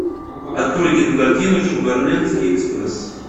открой кинокартину шугарлендский экспресс